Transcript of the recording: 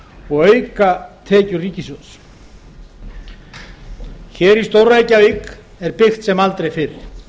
og auka tekjur ríkissjóðs hér í stór reykjavík er byggt sem aldrei fyrr